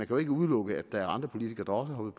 jo ikke udelukke at der er andre politikere